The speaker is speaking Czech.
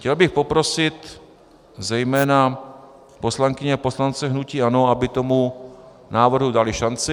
Chtěl bych poprosit zejména poslankyně a poslance hnutí ANO, aby tomu návrhu dali šanci.